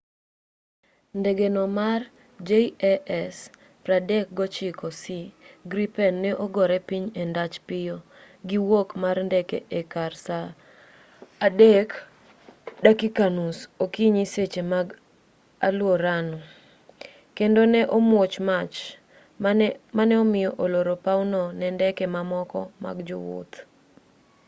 ndegeno mar jas 39c gripen ne ogore piny e ndach piyo gi wuok mar ndeke e kar saa 9:30 okinyi seche mag aluorano 0230 utc kendo ne omuoch mach ma ne omiyo olor pawno ne ndeke mamoko mag jowuoth